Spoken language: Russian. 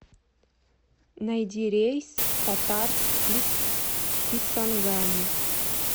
найди рейс в татарск из кисангани